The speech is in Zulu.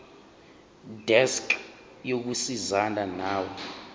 desk yokusizana nawe